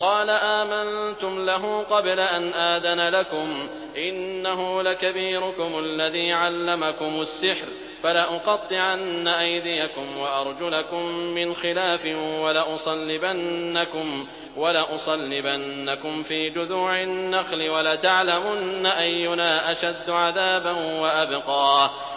قَالَ آمَنتُمْ لَهُ قَبْلَ أَنْ آذَنَ لَكُمْ ۖ إِنَّهُ لَكَبِيرُكُمُ الَّذِي عَلَّمَكُمُ السِّحْرَ ۖ فَلَأُقَطِّعَنَّ أَيْدِيَكُمْ وَأَرْجُلَكُم مِّنْ خِلَافٍ وَلَأُصَلِّبَنَّكُمْ فِي جُذُوعِ النَّخْلِ وَلَتَعْلَمُنَّ أَيُّنَا أَشَدُّ عَذَابًا وَأَبْقَىٰ